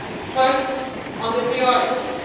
First, on the priorities.